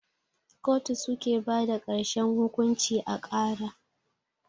kotu suke bada karshen hukunci a kara.